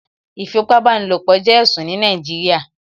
Ìfipábánilopọ̀ jẹ́ ẹ̀sùn ní Nàìjíríà